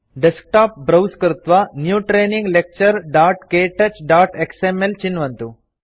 desktop browse कृत्वा new training lecturektouchएक्सएमएल चिन्वन्तु